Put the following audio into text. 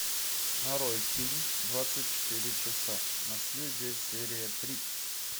нарой фильм двадцать четыре часа наследие серия три